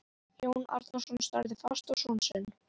Jón Arason starði fast á son sinn.